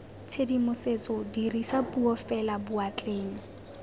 tshedimosetso dirisa puo fela boatleng